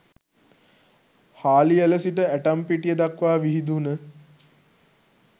හාලිඇල සිට ඇටම්පිටිය දක්වා විහිදුන